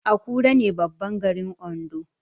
Akure ne babban garin Ondo